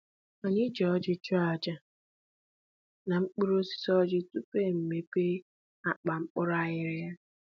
Anyị ji ọjị chụọ aja aja n'okpuru osisi ọjị tupu e mepe akpa mkpụrụ aghịrịgha